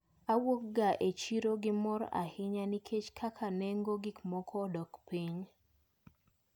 Awuok ga e chiro gi mor ahinya nikech kaka nengo gikmoko odok piny.